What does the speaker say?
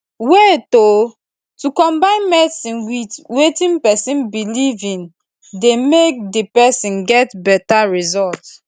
wait o to combine medicine with wetin pesin belief in dey make di person get beta result